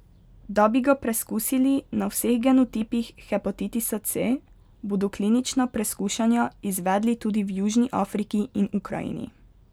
Da bi ga preskusili na vseh genotipih hepatitisa C, bodo klinična preskušanja izvedli tudi v Južni Afriki in Ukrajini.